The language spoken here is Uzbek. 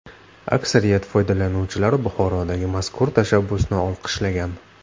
Aksariyat foydalanuvchilar Buxorodagi mazkur tashabbusni olqishlagan.